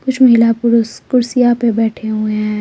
कुछ महिला पुरुष कुर्सियां पर बैठे हुए हैं।